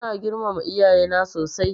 Ina girmama iyaye na sosai.